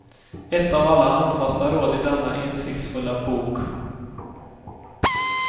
Ett av alla handfasta råd i denna insiktsfulla bok.